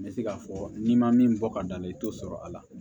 N bɛ se k'a fɔ n'i ma min bɔ ka da la i t'o sɔrɔ a la